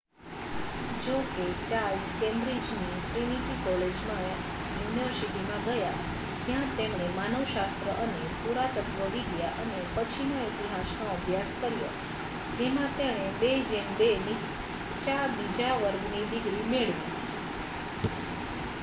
જો કે ચાર્લ્સ કેમ્બ્રિજની ટ્રિનિટી કોલેજમાં યુનિવર્સિટીમાં ગયા જ્યાં તેમણે માનવશાસ્ત્ર અને પુરાતત્ત્વવિદ્યા અને પછીના ઇતિહાસનો અભ્યાસ કર્યો જેમાં તેણે 2: 2 નીચા બીજા વર્ગની ડિગ્રી મેળવી